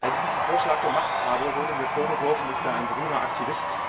Als ich diesen Vorschlag gemacht habe, wurde mir vorgeworfen, ich sei ein grüner Aktivist.